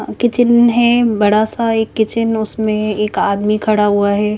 Kitchen है बड़ा सा एक किचन उसमे एक आदमी खड़ा हुआ है।